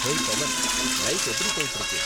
Hey Pavan, life எப்படி போய்ட்டு இருக்கு?